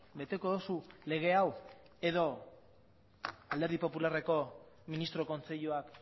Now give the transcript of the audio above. beteko duzu lege hau edo alderdi popularreko ministro kontseiluak